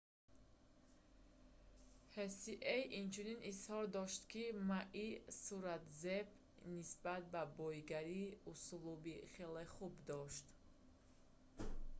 ҳсие инчунин изҳор дошт ки maи суратзеб нисбат ба боигарӣ услуби хеле хуб дошт